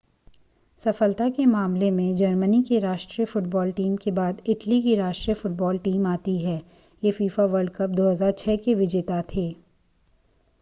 सफलता के मामले में जर्मनी की राष्ट्रीय फुटबॉल टीम के बाद इटली की राष्ट्रीय फुटबॉल टीम आती है ये फीफा वर्ल्ड कप 2006 के विजेता थे